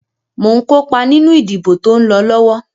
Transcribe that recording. Mo ǹ kópa nínú ìdìbò tó ń lọ lọ́wọ́.